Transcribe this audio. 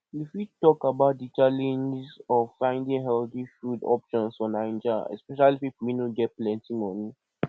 you fit talk about di challenges of finding healthy food options for naija especially people wey no get plenty money